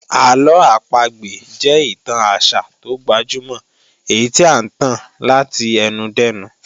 Àlọ́ àpagbè jẹ́ ìtàn àṣà tó gbajúmọ̀ èyí tí à ń tàn láti ẹnu dẹ́nu